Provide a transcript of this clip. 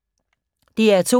DR2